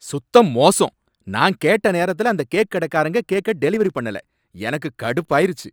சுத்த மோசம்! நான் கேட்ட நேரத்துல அந்த கேக் கடைக்காரங்க கேக்க டெலிவரி பண்ணல, எனக்கு கடுப்பாயிருச்சு